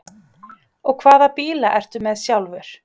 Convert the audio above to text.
Og hvaða bíla ertu með sjálfur?